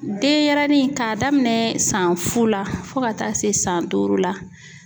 Denyɛrɛnin k'a daminɛ san fu la fo ka taa se san duuru la